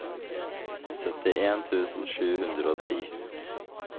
syttien tusen sju hundre og ti